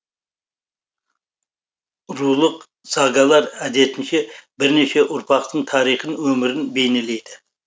рулық сагалар әдетінше бірнеше ұрпақтың тарихын өмірін бейнелейді